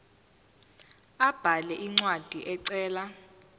abhale incwadi ecela